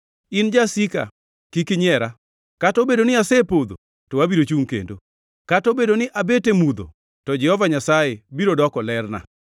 In jasika kik inyiera kata obedoni asepodho to abiro chungʼ kendo! Kata obedo ni abet e mudho to Jehova Nyasaye biro doko lerna.